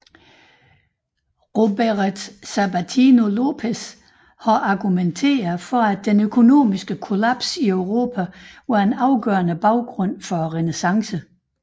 Roberet Sabatino Lopez har argumenteret for at den økonomiske kollaps i Europa var en afgørende baggrund for renæssancen